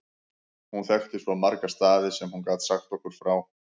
Hún þekkti svo marga staði sem hún gat sagt okkur frá.